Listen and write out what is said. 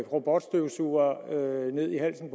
robotstøvsuger ned i halsen